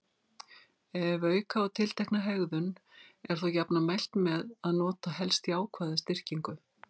Ef auka á tiltekna hegðun er þó jafnan mælt með að nota helst jákvæða styrkingu.